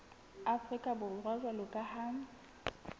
afrika borwa jwalo ka ha